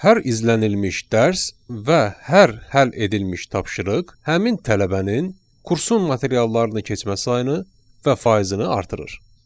Hər izlənilmiş dərs və hər həll edilmiş tapşırıq həmin tələbənin kursun materiallarını keçmə sayını və faizini artırır.